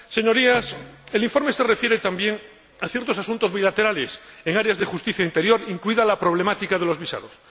Señorías, el informe se refiere también a ciertos asuntos bilaterales, en áreas de justicia e interior, incluida la problemática de los visados.